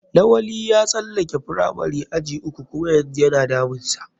Lawali ya tsalake firamari aji uku kuma yanzu yana damun sa.